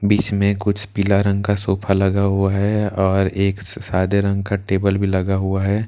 बीच में कुछ पीला रंग का सोफा लगा हुआ है और एक स सादे रंग का टेबल भी लगा हुआ है।